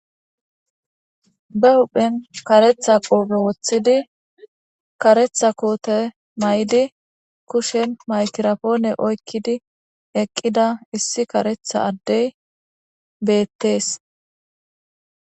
Be huphen karetha qoope woththidi karetha koote may7di kushen maykirafoone oykkidi eqqida issi karetha addey beettees.